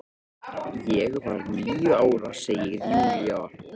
Ég var níu ára, segir Júlía.